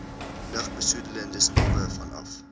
lugbesoedelende stowwe vanaf